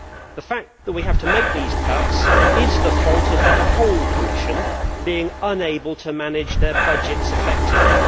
The fact that we have to make these cuts is the fault of the whole Commission being unable to manage its budgets effectively.